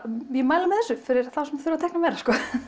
ég mæli með þessu fyrir þá sem þurfa að teikna meira